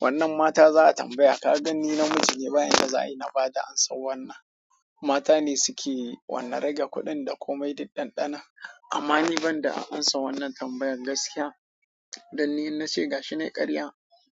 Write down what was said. wannan mata za a tambaya. Ka gan ni namiji ne, bayan da za'i na ba da amsa wannan. Mata ne suke wannan rage kuɗin da komai duk dandana. Amma ni banda a amsa wannan tambayan gaskiya, danni inna ce ga shi ne ƙarya.